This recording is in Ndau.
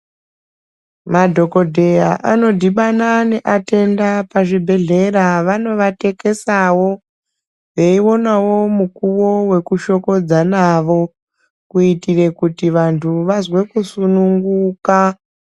Madhokodheya anondibana neatenda pazvibhedhlera vanovatekesawo veionawo mukuwo wekushokodza nawo kuitira kuti vantu vazwe kusununguka.